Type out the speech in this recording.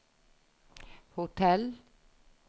hotell